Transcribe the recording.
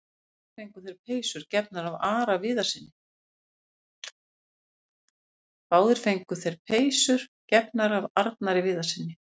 Báðir fengu þeir peysur gefnar af Arnari Viðarssyni.